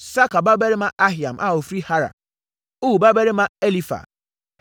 Sakar babarima Ahiam a ɔfiri Harar; Ur babarima Elifar.